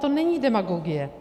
To není demagogie.